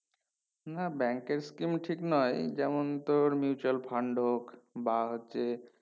না bank এর scheme ঠিক নয় যেমন তোর mutual fund হোক বা হচ্ছে